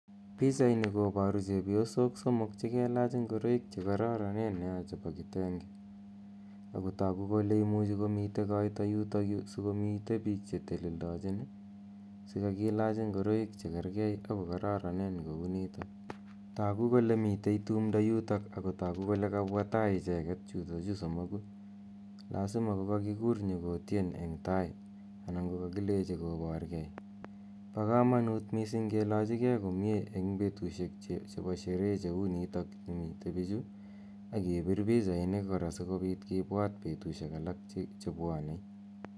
Pichaini koboru chepyosok somok che kelach ngoroik che kororonen nea chebo kitenge, ak ko toku kole imuchi komitei koito yutokyu si komitei piik che teleldochin si kakilach ingoroik che kerkei ak ko kororonen kou nito. Toku kole mitei tumdo yutok ak ko toku kole kabwa tai icheket chutochu somoku, l azima ko kakikur nyo kotien eng tai anan ko kakilechi koborkei, bo kamanut mising kilochikei komie eng betusiek chebo sherehe cheu nitok mitei pichu, ak kebir pichainik kora si kobit kibwat betusiek alak che bwone.